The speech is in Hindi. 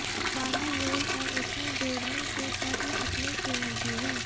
बाहर रोल और उसमें जोड़ने के तत्व अपने स्वयं की है